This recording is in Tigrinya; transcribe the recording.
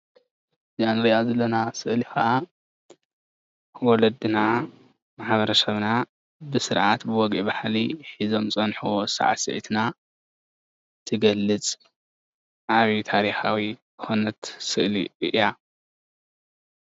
እዛእንሪአ ዘለና ምስሊ ከዓ ወለድና ማሕበረ ሰብና ብስርዓት ወግዒ ባህሊ ሒዞም ዝፀንሕዎ ሳዕሲዕትና እትገልፅ ኣብዩ ታሪኻዊት ዝኾነት ስእሊ እያ፡፡